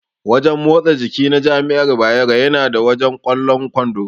Wajen motsa jiki na jami'ar Bayero yana da wajen ƙwallon kwando.